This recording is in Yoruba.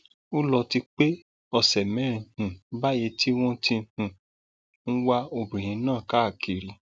ó lọ ti pé ọsẹ mẹrin um báyìí tí wọn ti um ń wá obìnrin náà káàkiri